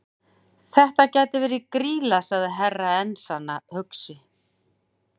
Þetta gæti verið Grýla, sagði Herra Enzana hugsandi.